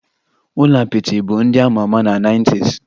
Ụlọ apịtị bụ ndị a ma ama na nineties